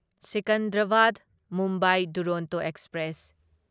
Secunderabad Mumbai Duronto express